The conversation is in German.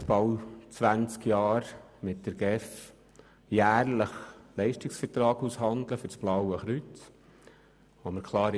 Seit bald 20 Jahren handle ich mit der GEF jährlich Leistungsverträge für das Blaue Kreuz aus.